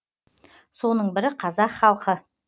соның бірі қазақ халқы